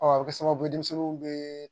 a bɛ kɛ sababu ye denmisɛnninw bɛ